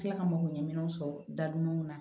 Tila ka mɔgɔ ɲɛnɛminiw sɔrɔ da dumanw na